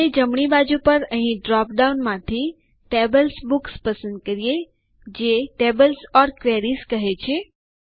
અને જમણી બાજુ પર અહીં ડ્રોપ ડાઉન માંથી TablesBooks પસંદ કરીએ જે ટેબલ્સ ઓર ક્વેરીઝ છે